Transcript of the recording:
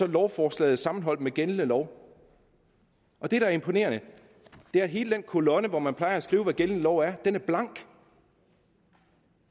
lovforslaget sammenholdt med gældende lov og det der er imponerende er at hele den kolonne hvor man plejer at skrive hvad gældende lov er blank